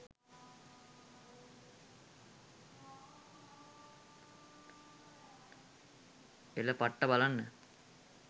“එල පට්ට බලන්න”